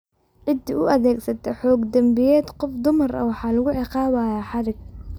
Ciddii u adeegsata xoog dembiyeed qof dumar ah waxa lagu ciqaabayaa xadhig.